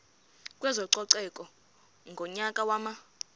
kwezococeko ngonyaka wama